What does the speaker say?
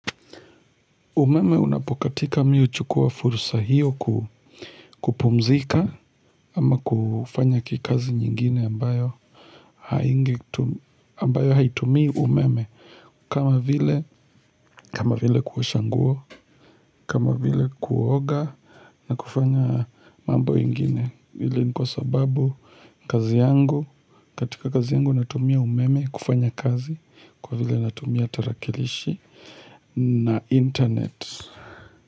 Umeme unapokatika mimi huchukua fursa hiyo kupumzika ama kufanya kikazi nyingine ambayo haingetu ambayo haitumii umeme kama vile kama vile kuosha nguo kama vile kuoga na kufanya mambo ingine hili ni kwa sababu kazi yangu katika kazi yangu natumia umeme kufanya kazi kwa vile natumia tarakilishi na internet.